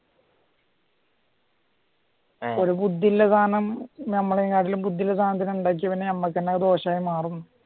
ഒരു ബുദ്ധി ഉള്ള സാധനം നമ്മളെക്കാളും ബുദ്ധിയുള്ള സദനം ഉണ്ടാക്കിയാല് അത് നമുക്ക് തന്നെ ദോഷമായി മാറും